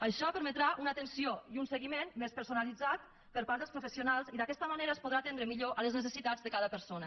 això permetrà una atenció i un seguiment més personalitzat per part dels professionals i d’aquesta manera es podran atendre millor les necessitats de cada persona